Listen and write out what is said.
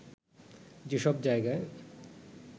যেসব জায়গায়